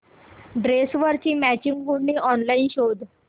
ड्रेसवरची मॅचिंग ओढणी ऑनलाइन शोध